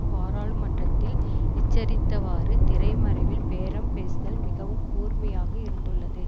பாராளுமன்றத்தில் எச்சரித்தவாறு திரைமறைவில் பேரம் பேசுதல் மிகவும் கூர்மையாக இருந்துள்ளது